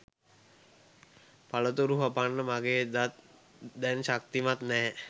පළතුරු හපන්න මගේ දත් දැන් ශක්තිමත් නෑ